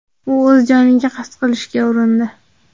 U o‘z joniga qasd qilishga urindi.